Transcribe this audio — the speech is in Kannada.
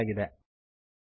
ಮೂಲಕ ನಡೆಸಲಾಗಿದೆ